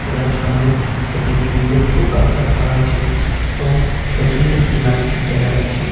এখানে সামনে একটি সুন্দর সোফা রাখা আছে এবং পিছনে একটি লাইট দেখা যাচ্ছে।